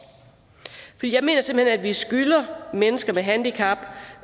jeg mener simpelt hen at vi skylder mennesker med handicap